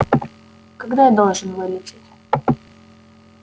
когда я должен вылететь